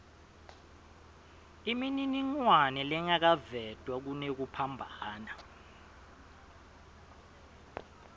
imininingwane lengakavetwa kunekuphambana